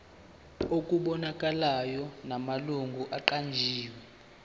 okubonakalayo namalungu aqanjiwe